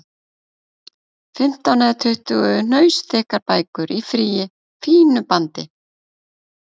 Fimmtán eða tuttugu hnausþykkar bækur í fínu bandi!